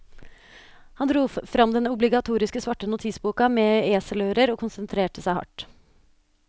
Han dro fram den obligatoriske svarte notisboka med eselører og konsentrerte seg hardt.